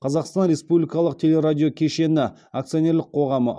қазақстан республикалық телерадиокешені акционерлік қоғамы